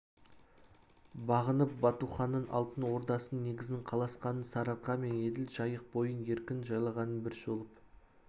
бағынып батуханның алтын ордасының негізін қаласқанын сарыарқа мен еділ жайық бойын еркін жайлағанын бір шолып